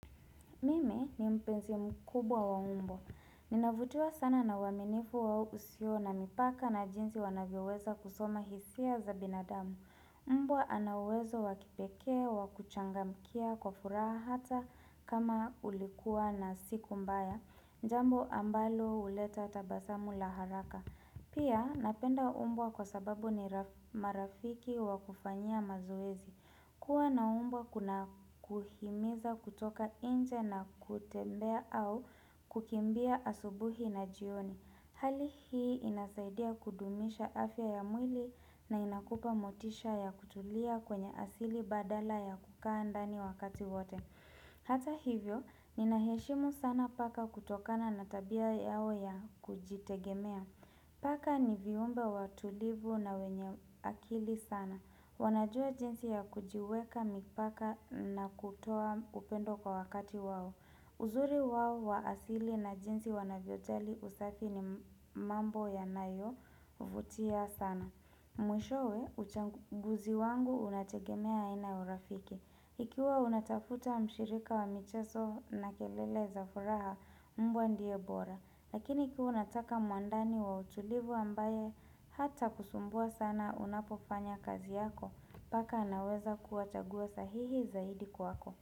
Mimi ni mpenzi mkubwa wa umbo. Ninavutiwa sana na waminifu au usio na mipaka na jinsi wanavyoweza kusoma hisia za binadamu. Umbwa ana uwezo wakipekee, wakuchangamkia, kwa furaha hata kama ulikua na siku mbaya. Jambo ambalo huleta tabasamu la haraka. Pia napenda umbwa kwa sababu ni marafiki wakufanyia mazoezi. Kuwa na umbwa kuna kuhimiza kutoka inje na kutembea au kukimbia asubuhi na jioni. Hali hii inasaidia kudumisha afya ya mwili na inakupa motisha ya kutulia kwenye asili badala ya kukaa ndani wakati wote. Hata hivyo, ninaheshimu sana paka kutokana na tabia yao ya kujitegemea. Paka ni viumbe watulivu na wenye akili sana. Wanajua jinsi ya kujiweka mipaka na kutoa upendo kwa wakati wao. Uzuri wao wa asili na jinsi wanavyojali usafi ni mambo yanayo vutia sana. Mwishowe uchanguzi wangu unategemea aina ya urafiki. Ikiwa unatafuta mshirika wa michezo na kelele za furaha mbwa ndiye bora. Lakini kaa unataka muandani wa utulivu ambaye hatakusumbua sana unapofanya kazi yako Paka anaweza kuwa chaguo sahihi zaidi kwako.